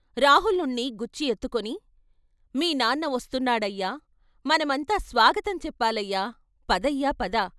రాహులుణ్ణి గుచ్చి ఎత్తుకొని మీ నాన్న వస్తున్నాడయ్యా మనమంతా స్వాగతం చెప్పాలయ్యా పదయ్యా పద.